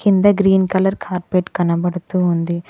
కింద green colour carpet కనబడుతూ ఉంది.